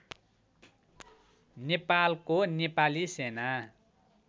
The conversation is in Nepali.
नेपालको नेपाली सेना